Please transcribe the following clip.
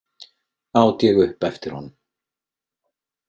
át ég upp eftir honum.